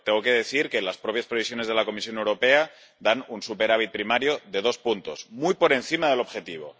Pero tengo que decir que las propias previsiones de la Comisión Europea dan un superávit primario de dos puntos, muy por encima del objetivo